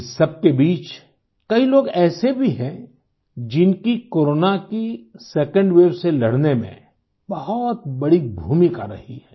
इस सबके बीच कई लोग ऐसे भी हैंजिनकी कोरोना की सेकंड वेव से लड़ने में बहुत बड़ी भूमिका रही है